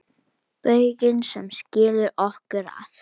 Bauginn sem skilur okkur að.